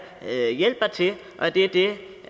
her hjælper til og det er det